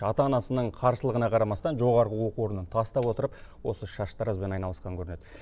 ата анасының қарсылығына қарамастан жоғарғы оқу орнын тастап отырып осы шаштаразбен айналысқан көрінеді